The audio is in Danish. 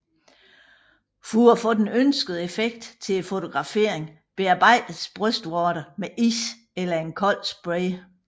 For at få den ønskede effekt til fotograferingen bearbejdes brystvorterne med is eller en kold spray